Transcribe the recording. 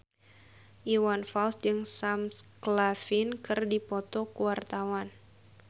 Iwan Fals jeung Sam Claflin keur dipoto ku wartawan